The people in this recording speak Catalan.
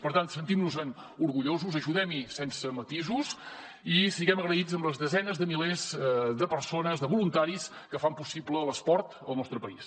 per tant sentim nos en orgullosos ajudem hi sense matisos i siguem agraïts amb les desenes de milers de persones de voluntaris que fan possible l’esport al nostre país